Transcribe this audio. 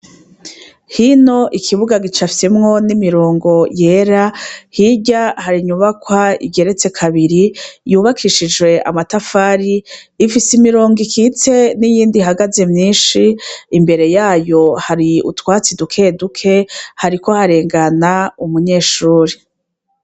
Hino ikibuga gicafyemwo n'imirongo yera hirya hari inyubakwa igeretse kabiri yubakishijwe amatafari ifise imirongo ikitse niyindi ihagaze myishi imbere yayo hari utwatsi duke duke hariko harengana umunyeshuri.